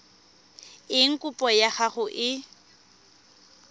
eng kopo ya gago e